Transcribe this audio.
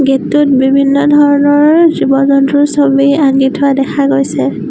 Gate টোত বিভিন্ন ধৰণৰ জীৱ-জন্তুৰ ছবি আঁকি থোৱা দেখা গৈছে।